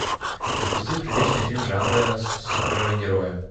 запусти приличный фильм жанра супергерои